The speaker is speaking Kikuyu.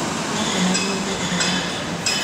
Nĩakenagio nĩ ũhoro ũcio.